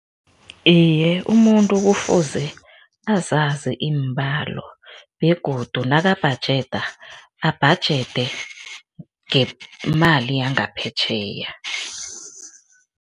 Iye, umuntu kufuze azazi iimbalo begodu nakabhajeda, abhajede ngemali yangaphetjheya.